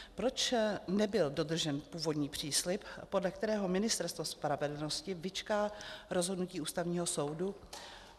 Proč nebyl dodržen původní příslib, podle kterého Ministerstvo spravedlnosti vyčká rozhodnutí Ústavního soudu?